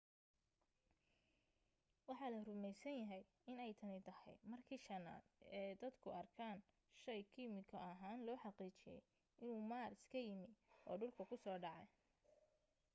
waxa la rumaysan yahay inay tani tahay markii shanaad ee dadku arkaan shay kiimiko ahaan loo xaqiijiyay inuu maaras ka yimi oo dhulka ku soo dhacay